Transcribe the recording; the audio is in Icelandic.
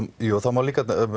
jú það má líka